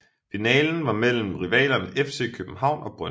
Finalen var mellem rivalerne FC København og Brøndby